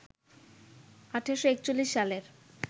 ১৮৪১ সালের